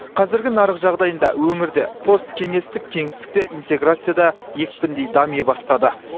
қазіргі нарық жағдайында өңірде посткеңестік кеңістікте интеграция да екпіндей дами бастады